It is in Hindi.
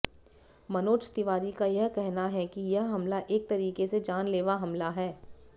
मनोज तिवारी का कहना है कि यह हमला एक तरीके से जानलेवा हमला है